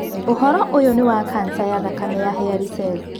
Ũhoro ũyũ nĩ wa kanca ya thakame ya hairy cell.